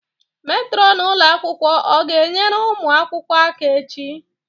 Metronu ụlọ akwụkwọ ọ ga-enyere ụmụ akwụkwọ aka echi?